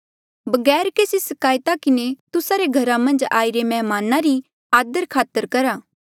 बगैर केसी सिकायत किन्हें तुस्सा रे घरा मन्झ आईरे मैहमाना री आदरखातर करहा